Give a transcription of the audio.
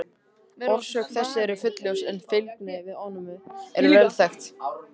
Orsök þess er ekki fullljós en fylgni við ofnæmi er vel þekkt.